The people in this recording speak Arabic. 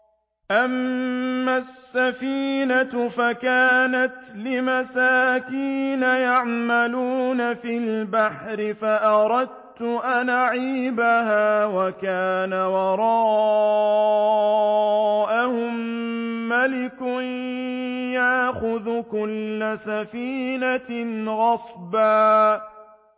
أَمَّا السَّفِينَةُ فَكَانَتْ لِمَسَاكِينَ يَعْمَلُونَ فِي الْبَحْرِ فَأَرَدتُّ أَنْ أَعِيبَهَا وَكَانَ وَرَاءَهُم مَّلِكٌ يَأْخُذُ كُلَّ سَفِينَةٍ غَصْبًا